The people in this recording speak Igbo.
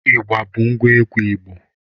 Igba bụ ngwa egwu Igbo